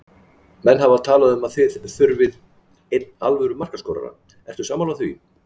Menn hafa talað um að þið þurfið einn alvöru markaskorara, ertu sammála því?